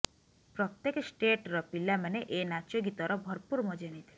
ପ୍ରତ୍ୟେକ ଷ୍ଟେଟ ର ପିଲାମାନେ ଏ ନାଚ ଗୀତର ଭରପୁର ମଜା ନେଇଥିଲେ